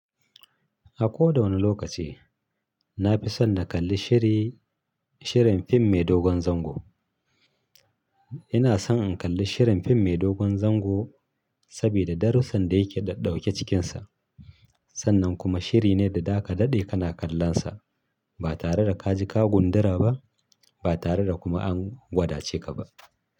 A koda wanne lokaci na fi son na kalli shiri, shirin fim mai dogon zango. Ina son in kalli shirin fim mai dogon zango sabida darussan da yake ɗauke cikinsa. Sannan kuma shiri ne da zaka daɗe kana kallonsa ba tare da ka ji ka gundura ba, ba tare da kuma an gwadace ka ba.